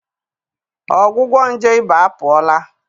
Ọgwụgwọ nje ịba apụọla.